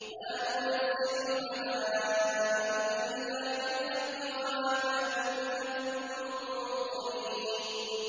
مَا نُنَزِّلُ الْمَلَائِكَةَ إِلَّا بِالْحَقِّ وَمَا كَانُوا إِذًا مُّنظَرِينَ